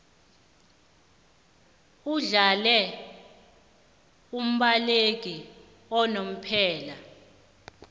uhlale umbaleki unomphela